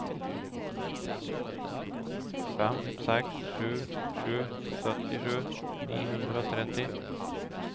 fem seks sju sju syttisju ni hundre og tretti